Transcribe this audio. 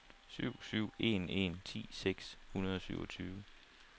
syv syv en en ti seks hundrede og syvogtyve